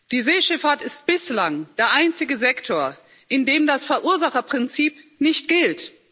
Die Seeschifffahrt ist bislang der einzige Sektor, in dem das Verursacherprinzip nicht gilt.